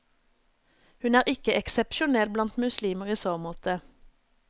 Hun er ikke eksepsjonell blant muslimer i så måte.